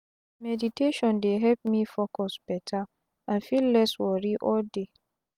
meditation dey help me focus beta and feel less wori all day.